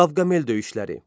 Qavqamela döyüşləri.